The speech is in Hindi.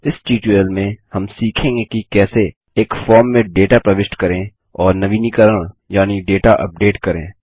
इस ट्यूटोरियल में हम सीखेंगे कि कैसे एक फॉर्म में डेटा प्रविष्ट करें और नवीनीकरण यानि डेटा अपडेट करें